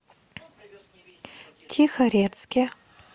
тихорецке